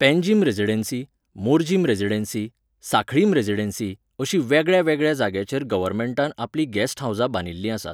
Panjim residency, Morjim residency, Sanquelim residency अशीं वेगळ्यावेगळ्या जाग्यांचेर गर्वनमेंटान आपलीं गॅस्ट हावसां बांदिल्लीं आसात.